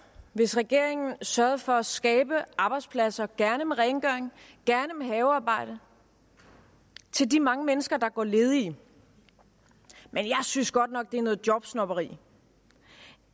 hvis regeringen sørgede for at skabe arbejdspladser gerne med rengøring gerne med havearbejde til de mange mennesker der går ledige men jeg synes godt nok det er noget jobsnobberi